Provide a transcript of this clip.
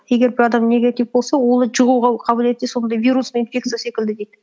егер бір адам негатив болса оның жұғуға қабілеті сондай вирусный инфекция секілді дейді